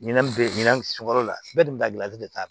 Ɲinan be yen ɲinan sukaro la bɛɛ be ka gilali de k'a la